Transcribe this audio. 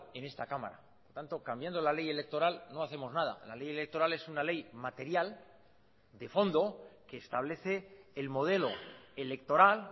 en esta cámara tanto cambiando la ley electoral no hacemos nada la ley electoral es una ley material de fondo que establece el modelo electoral